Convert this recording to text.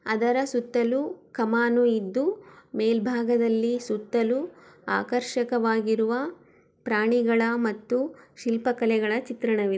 ಅದರ ಸುತ್ತಲೂ ಕಮಾನು ಇದ್ದು ಮೇಲ್ಭಾಗದಲ್ಲಿ ಸುತ್ತಲು ಆಕರ್ಷಕವಾಗಿರುವ ಪ್ರಾಣಿಗಳ ಮತ್ತು ಶಿಲ್ಪಾಕಲೆಗಳ ಚಿತ್ರಣವಿದೆ.